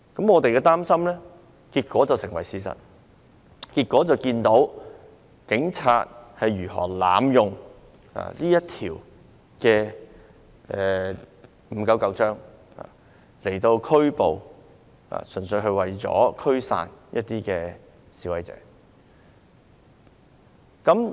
我們的擔心結果成為了事實，看到警方如何濫用《預防及控制疾病條例》，純粹是為了拘捕、驅散示威者。